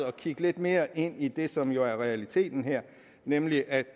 at kigge lidt mere ind i det som jo er realiteten her nemlig at